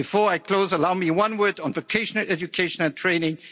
Before I close, allow me one word on vocational education and training.